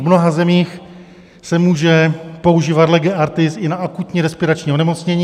V mnoha zemích se může používat lege artis i na akutní respirační onemocnění.